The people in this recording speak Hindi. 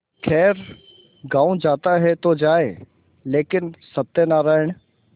खैर गॉँव जाता है तो जाए लेकिन सत्यनारायण